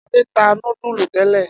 Ade ta nudulu tele.